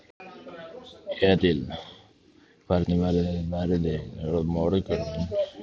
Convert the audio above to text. Edil, hvernig verður veðrið á morgun?